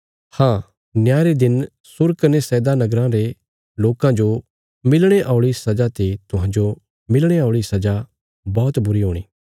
हाँ न्याय रे दिन सूर कने सैदा नगराँ रे लोकां जो मिलणे औल़ी सजा ते तुहांजो मिलणे औल़ी सजा बौहत बुरी हूणी